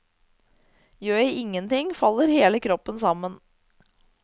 Gjør jeg ingenting, faller hele kroppen sammen.